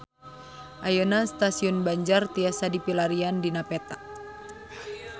Ayeuna Stasiun Banjar tiasa dipilarian dina peta